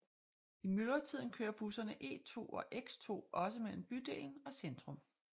I myldretiden kører busserne E2 og X2 også mellem bydelen og centrum